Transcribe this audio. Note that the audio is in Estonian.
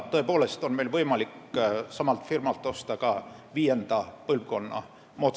Meil on võimalik samalt firmalt osta ka moodsaid viienda põlvkonna rakette.